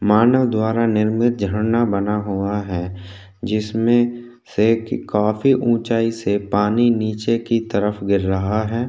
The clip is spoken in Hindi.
मानव द्वारा निर्मित झरना बना हुआ है जिसमें से काफी ऊँचाई से पानी नीचे की तरफ गिर रहा है।